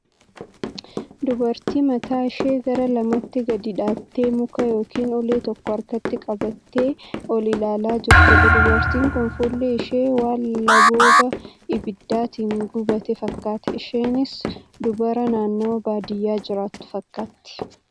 Dubartii mataa ishee gara lamatti gadi dha'aattee muka yookiin ulee tokko harkatti qabattee ol ilaalaa jirtudha. Dubartiin kun fuulli ishee waan labooba ibiddaatin guggubate fakkaata. Isheenis dubara naannawaa baadiyyaa jiraattu fakkaatti.